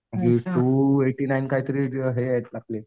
म्हणजे two eighty nine काहीतरी हे आहेत आपले.